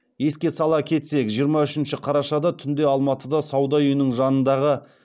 еске сала кетсек жиырма үшінші қарашада түнде алматыда сауда үйінің жанындағы